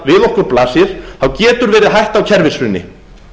við okkur blasir getur verið hætta á kerfishruni